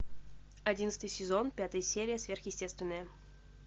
одиннадцатый сезон пятая серия сверхъестественное